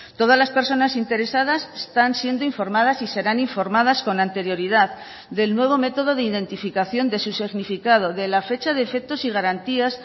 todas las personas interesadas están siendo informadas y serán informadas con anterioridad del nuevo método de identificación de su significado de la fecha de efectos y garantías